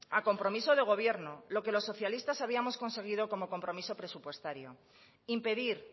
a compromiso de gobierno lo que los socialistas habíamos conseguido como compromiso presupuestario impedir